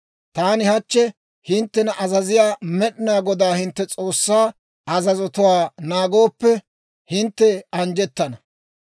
Taani hachchi hinttena azaziyaa Med'inaa Godaa hintte S'oossaa azazotuwaa naagooppe, hintte anjjettana.